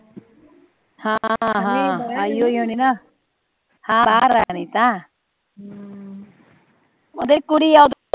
ਹਾਂ ਬਾਹਰ ਆ ਅਨੀਤਾ ਓਹਦੇ ਕੁੜੀ ਆ